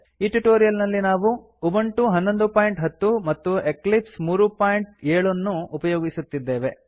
ಈ ಟ್ಯುಟೋರಿಯಲ್ ನಲ್ಲಿ ನಾವು ಉಬುಂಟು 1110 ಮತ್ತು ಎಕ್ಲಿಪ್ಸ್ 37 ಅನ್ನು ಉಪಯೋಗಿಸುತ್ತಿದ್ದೇವೆ